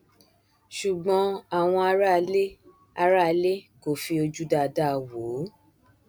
ṣùgbọn àwọn aráalé aráalé kò fi ojú dáadáa wò ó